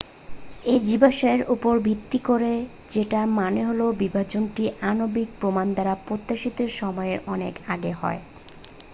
"""এই জীবাশ্মের উপর ভিত্তি করে সেটার মানে হলো বিভাজনটি আণবিক প্রমাণ দ্বারা প্রত্যাশিত সময়ের অনেক আগে হয়।